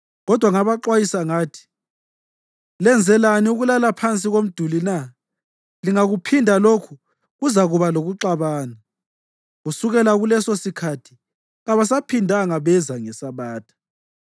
Kodwa ngabaxwayisa ngathi, “Lenzelani ukulala phansi komduli na? Lingakuphinda lokhu kuzakuba lokuxabana.” Kusukela kulesosikhathi kabasaphindanga beza ngeSabatha.